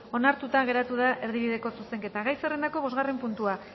onartuta geratu da erdibideko zuzenketa gai zerrendako bosgarren puntua